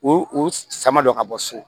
O o sama dɔ ka bɔ so